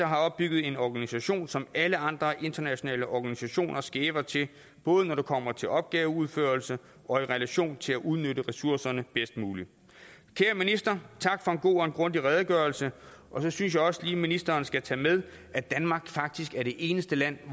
har opbygget en organisation som alle andre internationale organisationer skæver til både når det kommer til opgaveudførelse og i relation til at udnytte ressourcerne bedst muligt kære minister tak for en god og grundig redegørelse jeg synes også lige at ministeren skal tage med at danmark faktisk er det eneste land